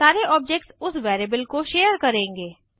सारे ऑब्जेक्ट्स उस वेरिएबल को शेयर करेंगे